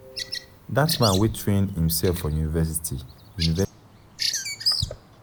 Dat man wey train imsef for university university dey inspire me.